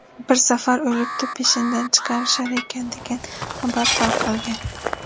Bir safar o‘libdi, peshinda chiqarishar ekan, degan xabar tarqalgan.